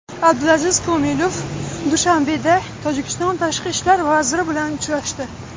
Abdulaziz Komilov Dushanbeda Tojikiston tashqi ishlar vaziri bilan uchrashdi.